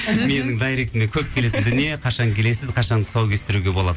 менің дайректіме көп келетін дүние қашан келесіз қашан тұсау кестіруге болады